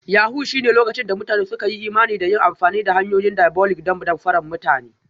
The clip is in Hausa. Yahoo+ shine lokacin da mutane suka yi imani da yin amfani da hanyoyin diabolic don damfara mutane